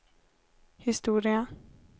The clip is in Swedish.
historia